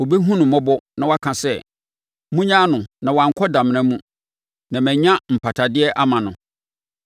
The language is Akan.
ɔbɛhunu no mmɔbɔ na waka sɛ, ‘Monnyaa no na wankɔ damena mu; na manya mpatadeɛ ama no,’